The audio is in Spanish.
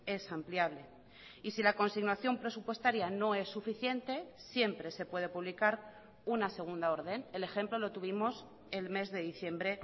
es ampliable y si la consignación presupuestaria no es suficiente siempre se puede publicar una segunda orden el ejemplo lo tuvimos el mes de diciembre